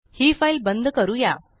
ही file बंद करूया